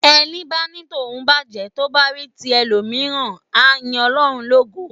Ẹni bá ní tòun bàjé, tó bá rí tí ẹlòmíràn á yín Ọlọ́run lógo.